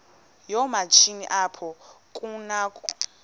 yoomatshini apho kunakho